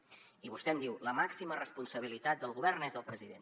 i vostè em diu la màxima responsabilitat del govern és del president